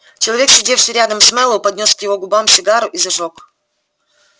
человек сидевший рядом с мэллоу поднёс к его губам сигару и зажёг